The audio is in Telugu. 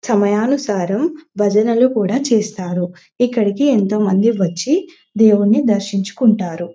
సమయానుసారం భజనలు కూడా చేస్తారు ఇక్కడకి ఎంతో మంది వచ్చి దేవుడ్ని దర్శించుకుంటారు.